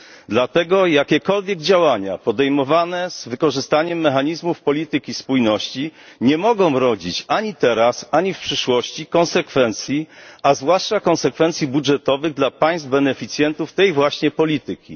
Dlatego jakiekolwiek działania podejmowane z wykorzystaniem mechanizmów polityki spójności nie mogą rodzić ani teraz, ani w przyszłości konsekwencji, a zwłaszcza konsekwencji budżetowych, dla państw beneficjentów tej właśnie polityki.